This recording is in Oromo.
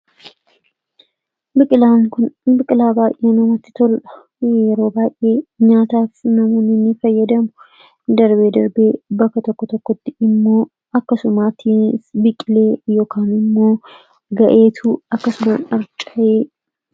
biqilaa baayyaa namatti tol'a yeroo baay'ee nyaataaf namooninni fayyadamu darbee darbee bakka tokko tokkotti immoo akkasumaattii biqilee yookn immoo ga'eetu akkasuma darca'ee